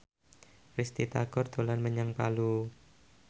Risty Tagor dolan menyang Palu